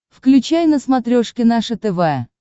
включай на смотрешке наше тв